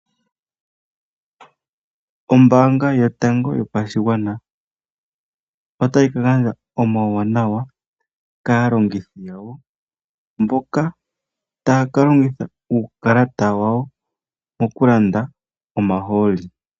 Ombaanga yotango yopashigwana otayi ka gandja omauwanawa kaalongithi yawo, mboka taya ka longitha uukalata wawo oku landa omahooli.